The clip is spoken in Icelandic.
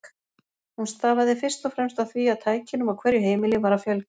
Hún stafaði fyrst og fremst af því að tækjunum á hverju heimili var að fjölga.